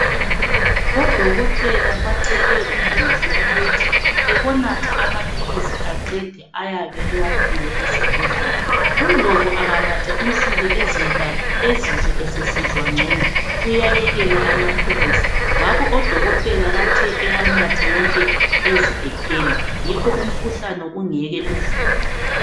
Odokotela bacele uNdlovu ukuthi ebonatha amaphilisi aqede ayabe ewaphiwe esibhedlela. UNdlovu anganatha insuku ezintathu ezizwe esesizwa ngcono uyayekela amaphilisi ngakho odokotela bathe ewanathe wonke eze ephele yikho umkhuhlane ungeke uvuke.